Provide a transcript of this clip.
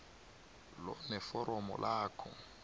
lo neforomo lakho